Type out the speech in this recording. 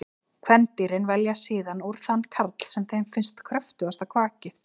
Kvendýrin velja síðan úr þann karl sem þeim finnst hafa kröftugasta kvakið.